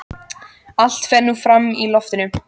Allt fer nú fram í loftinu.